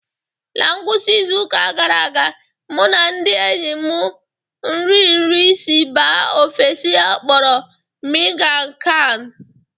Na ngwụsị izu ụka gara aga, mụ na ndị enyi m nri nri si mba ofesi a kpọrọ miang kham.